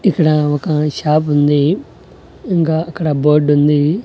ఇక్కడ ఒక షాప్ ఉంది ఇంకా అక్కడ బోర్డు ఉంది.